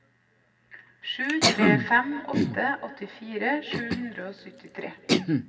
sju tre fem åtte åttifire sju hundre og syttitre